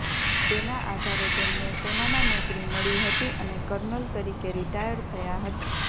તેના આધારે તેમને સેનામાં નોકરી મળી હતી અને કર્નલ તરીકે રીટાયર થયાં હતાં